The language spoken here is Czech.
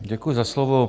Děkuji za slovo.